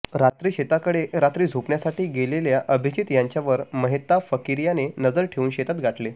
रात्री शेतातकडे रात्री झोपण्यासाठी गेलेल्या अभिजीत यांच्यावर महेताब फकीर याने नजर ठेवून शेतात गाठले